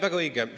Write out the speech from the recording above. Väga õige!